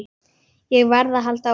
Ég varð að halda áfram.